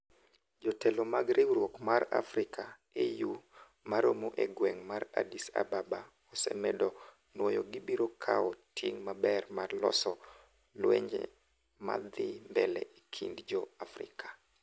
jotelo mag riwruok mar Africa (AU) ma romo e gweng' mar Addis Ababa ose medo nwoyo gibiro kao ting maber mar loso lwenje ma dhi mbele e kind jo-Afrika